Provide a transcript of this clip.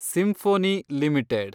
symphony limited